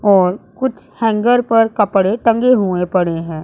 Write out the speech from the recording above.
और कुछ हैंगर पर कपड़े टंके हुए पड़े है।